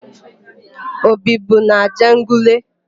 O bibu n'Ajegunle?